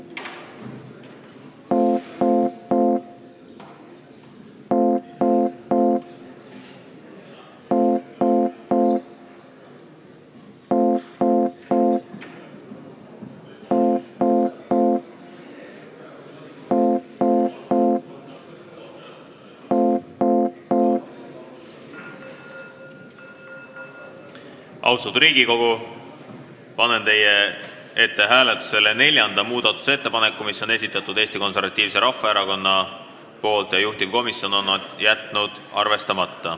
Austatud Riigikogu, panen hääletusele neljanda muudatusettepaneku, mille on esitanud Eesti Konservatiivse Rahvaerakonna fraktsioon ja mille juhtivkomisjon on jätnud arvestamata.